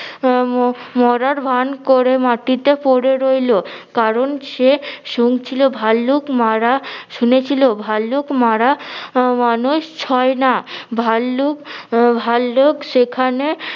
উহ ম~ মরার ভান করে মাটিতে পড়ে রইলো কারণ সে শুনছিলো ভাল্লুক মারা শুনেছিলো ভাল্লুক মারা আহ মানুষ ছয় না ভাল্লুক আহ ভাল্লুক সেখানে